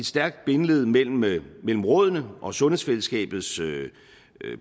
stærkt bindeled mellem mellem rådene og sundhedsfællesskabets